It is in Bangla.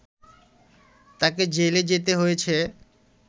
তাকে জেলে যেতে হয়েছে